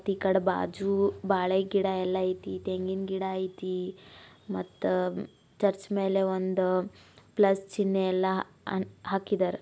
ಈ ಕಡೆ ಬಾಜು ಬಾಳೆಗಿಡ ಅಲ್ಲಾ ಐತಿ ತೆಂಗಿನ ಗಿಡ ಐತಿ ಮತ್ತ ಚೆರ್ಚ್ ಮೇಲೆ ಒಂದು ಪ್ಲಸ್ ಚಿನ್ನೇ ಎಲ್ಲ ಹಾ ಹಾಕಿದರ.